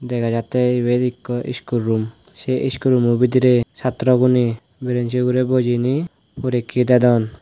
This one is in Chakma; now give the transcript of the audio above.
dega jattey ibot ekku school sey schoolano bidirey satro guney brenchi ugurey bujiney porekkey dedon .